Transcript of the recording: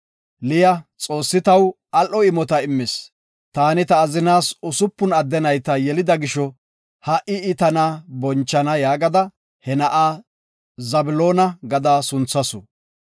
Liya, “Xoossi taw al7o imota immis. Taani ta azinaas usupun adde nayta yelida gisho, ha7i I tana bonchana” yaagada he na7a Zabloona gada sunthasu.